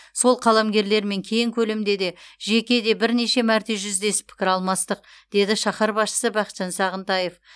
сол қаламгерлермен кең көлемде де жеке де бірнеше мәрте жүздесіп пікір алмастық деді шаһар басшысы бақытжан сағынтаев